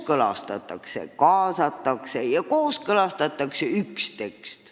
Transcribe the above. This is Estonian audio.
Kaasatakse huvilisi ja kooskõlastatakse üks tekst.